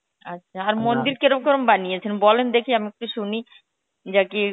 আচ্ছা আর কেরম কেরম বানিয়েছে বলেন দেখি আমি একটু সুনি